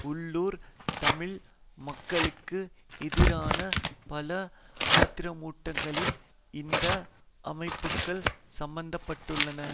உள்ளூர் தமிழ் மக்களுக்கு எதிரான பல ஆத்திரமூட்டல்களில் இந்த அமைப்புக்கள் சம்பந்தப்பட்டுள்ளன